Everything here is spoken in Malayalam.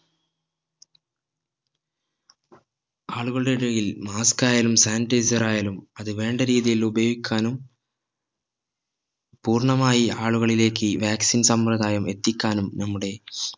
ആളുകളുടെ ഇടയിൽ അത് mask ആയാലും sanitizer ആയാലും അത് വേണ്ട രീതിയിൽ ഉപയോഗിക്കാനും പൂർണ്ണമായി ആളുകളിലേക്ക് vaccine സംവ്രതായം എത്തിക്കാനും നമ്മുടെ